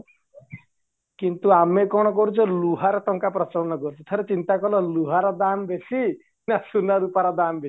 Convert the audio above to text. କିନ୍ତୁ ଆମେ କ'ଣ କରୁଛେ ଲୁହର ତାଙ୍କ ପ୍ରଚଳନ କରୁଛେ ଠାରେ ଚିନ୍ତାକଲ ଲୁହାର ଦାମ ବେଶୀ ନା ସୁନା ରୁପାର ଦାମ ବେଶୀ